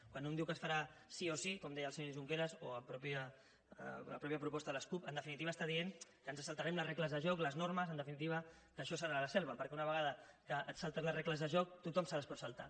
quan un diu que es farà sí o sí com deia el senyor junqueras o la mateixa proposta de les cup en definitiva està dient que ens saltarem les regles del joc les normes en definitiva que això serà la selva perquè una vegada que et saltes les regles del joc tothom se les pot saltar